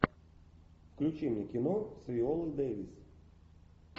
включи мне кино с виолой дэвис